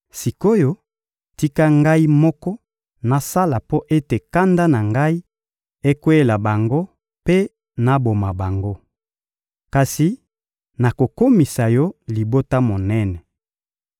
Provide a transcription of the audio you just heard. Sik’oyo, tika Ngai moko nasala mpo ete kanda na Ngai ekweyela bango mpe naboma bango. Kasi nakokomisa yo libota monene.